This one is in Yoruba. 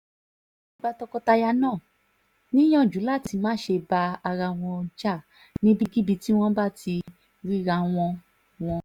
ó wáá gba tọkọ-taya náà níyànjú láti má ṣe bá ara wọn jà níbikíbi tí wọ́n bá ti ríra wọn wọn